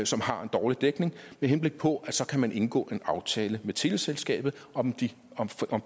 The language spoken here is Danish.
som har en dårlig dækning med henblik på at man så kan indgå en aftale med teleselskabet om